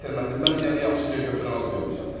Mən yəni yaxşıca götürən az görmüşəm.